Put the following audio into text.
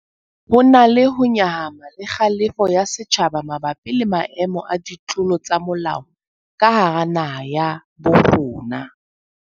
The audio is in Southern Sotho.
Ho na le ho nyahama le kgalefo ya setjhaba mabapi le maemo a ditlolo tsa molao ka hara naha ya bo rona.